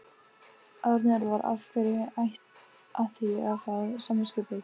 Árni Elvar: Af hverju ætti ég að fá samviskubit?